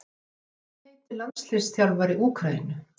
Hvað heitir landsliðsþjálfari Úkraínu?